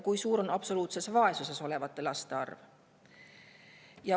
Kui suur on absoluutses vaesuses olevate laste arv?